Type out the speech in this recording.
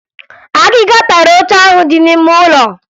Akịka tara oche ahụ dị n'ime ụlọ